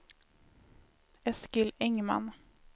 Eskil Engman